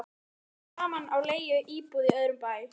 Við tókum saman á leigu íbúð í öðrum bæ